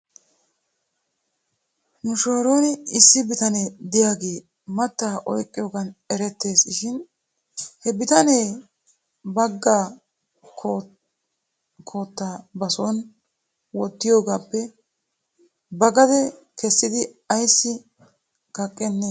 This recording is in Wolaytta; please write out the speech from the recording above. Nu shooron issi bitane de'iyaagee mattaa oyqqiyoogan erettees shin he bitanee baga koottaa bason wotiigiyoogaappe ba gade kessidi ayssi kaqqenee?